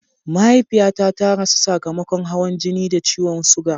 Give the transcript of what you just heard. Mahaifiyata ta rasu sakamakon hawan jini da ciwon suga.